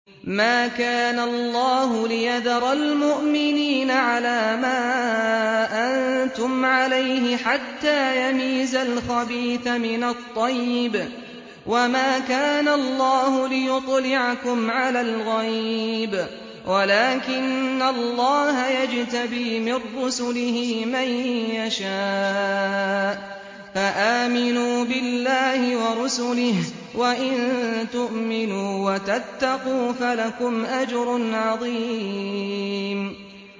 مَّا كَانَ اللَّهُ لِيَذَرَ الْمُؤْمِنِينَ عَلَىٰ مَا أَنتُمْ عَلَيْهِ حَتَّىٰ يَمِيزَ الْخَبِيثَ مِنَ الطَّيِّبِ ۗ وَمَا كَانَ اللَّهُ لِيُطْلِعَكُمْ عَلَى الْغَيْبِ وَلَٰكِنَّ اللَّهَ يَجْتَبِي مِن رُّسُلِهِ مَن يَشَاءُ ۖ فَآمِنُوا بِاللَّهِ وَرُسُلِهِ ۚ وَإِن تُؤْمِنُوا وَتَتَّقُوا فَلَكُمْ أَجْرٌ عَظِيمٌ